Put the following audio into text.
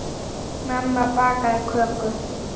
Mamma bakaði köku.